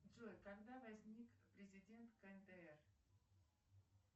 джой когда возник президент кндр